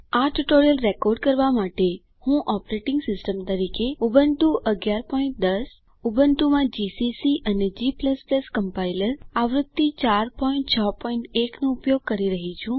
આ tutorial record કરવા માટે હું ઓપરેટિંગ સિસ્ટમ તરીકે ઉબુન્ટુ 1110 ઉબુન્ટુ માં જીસીસી અને g કમ્પાઇલર આવૃત્તિ 461 નો ઉપયોગ કરી રહ્યી છું